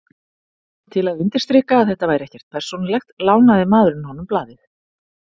Til að undirstrika að þetta væri ekkert persónulegt, lánaði maðurinn honum blaðið.